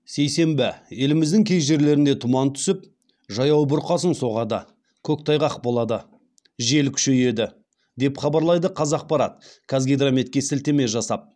сейсенбі еліміздің кей жерлерінде тұман түсіп жаяу бұрқасын соғады көктайғақ болады жел күшейеді деп хабарлайды қазақпарат қазгидрометке сілтеме жасап